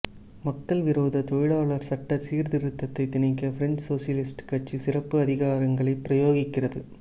மக்கள்விரோத தொழிலாளர் சட்ட சீர்திருத்தத்தைத் திணிக்க பிரெஞ்சு சோசலிஸ்ட் கட்சி சிறப்பு அதிகாரங்களைப் பிரயோகிக்கிறது